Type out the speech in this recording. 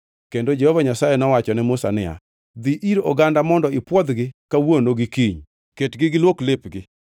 Kendo Jehova Nyasaye nowacho ne Musa niya, “Dhi ir oganda mondo ipwodhgi kawuono gi kiny. Ketgi giluok lepgi